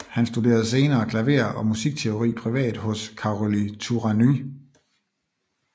Han studerede senere klaver og musikteori privat hos Károly Turányi